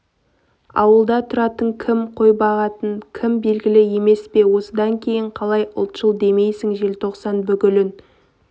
ауылда тұратын кім қой бағатын кім белгілі емес пе осыдан кейін қалай ұлтшыл демейсің желтоқсан бүлігін